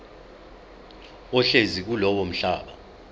ohlezi kulowo mhlaba